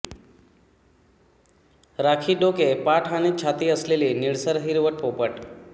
राखी डोके पाठ आणि छाती असलेली निळसर हिरवट पोपट